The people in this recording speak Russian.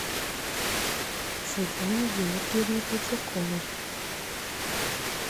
светлане георгиевне третьяковой